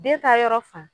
Den ta yɔrɔ fan